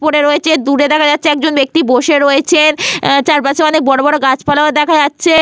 পড়ে রয়েছে। দূরে দেখা যাচ্ছে একজন ব্যাক্তি বসে রয়েছেন। চারপাশে অনেক বড়বড় গাছপালা ও দেখা যাচ্ছে।